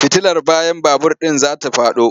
Fitilar bayan babur ɗin za ta faɗo.